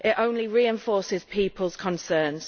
it only reinforces people's concerns.